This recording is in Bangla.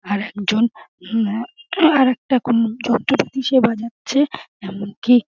আর একজন আর একটা যন্ত্রপাতি সে বাজছে এমন কি --